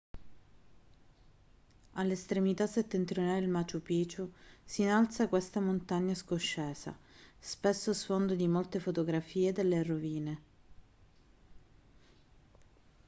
all'estremità settentrionale del machu picchu si innalza questa montagna scoscesa spesso sfondo di molte fotografie delle rovine